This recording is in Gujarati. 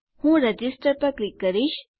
હું રજિસ્ટર પર ક્લિક કરીશ